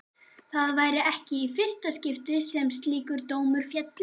Það væri ekki í fyrsta skipti sem slíkur dómur félli.